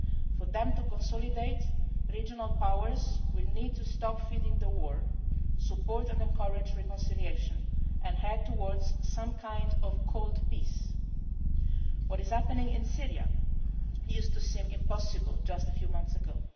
For them to consolidate, regional powers will need to stop feeding the war, support and encourage reconciliation and head towards some kind of cold peace. What is happening in Syria seemed impossible just a few months